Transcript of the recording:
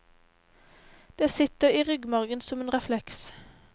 Det sitter i ryggmargen, som en refleks.